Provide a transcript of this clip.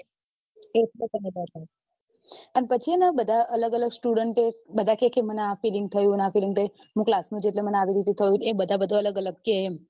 એટલે તને ડર લાગે પછી બધા અલગ અલગ student ઓ બધા કે મને આ feeling થયું આ feeling થયું હું class માં જઈ એટલે મને આવી રીતે થયું એ બધા અલગ અલગ થયું કે